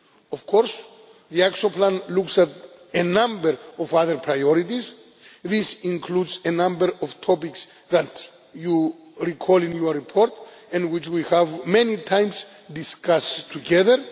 Of course, the Action Plan looks at a number of other priorities. This includes a number of topics that you recall in your report and which we have many times discussed together.